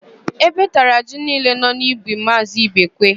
Ébé tara ji niile nọ n'ubi Maazị Ibekwe.